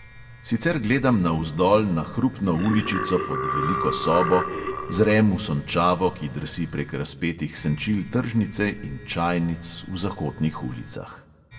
Sicer gledam navzdol na hrupno uličico pod veliko sobo, zrem v sončavo, ki drsi prek razpetih senčil tržnice in čajnic v zakotnih ulicah.